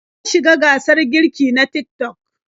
Ta shiga gasar girki na Tik-tok.